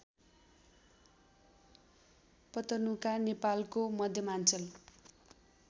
पतनुका नेपालको मध्यमाञ्चल